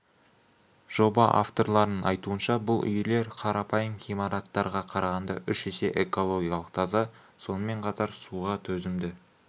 жоба авторларының айтуынша бұл үйлер қарапайым ғимараттарға қарағанда үш есе экологиялық таза сонымен қатар суға төзімді